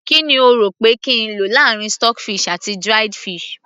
kí ni o rò pé kí n lò láàrin stock fish àti dried fish